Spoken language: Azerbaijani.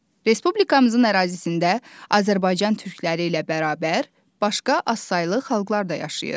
Respublikamızın ərazisində Azərbaycan türkləri ilə bərabər başqa azsaylı xalqlar da yaşayır.